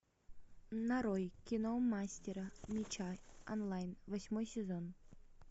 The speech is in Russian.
нарой кино мастер меча онлайн восьмой сезон